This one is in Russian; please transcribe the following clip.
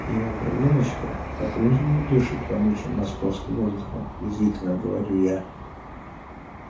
его кровиночка по-прежнему дышит вонючим московским воздухом язвительно говорю я